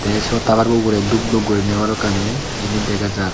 ei siyot tawarbo ugurey dub dub guriney balokani jinij dega jaar.